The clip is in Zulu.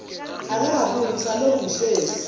akakabuyi ngisalokhu ngihlezi